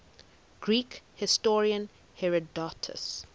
greek historian herodotus